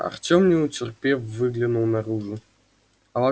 артем не утерпев выглянул наружу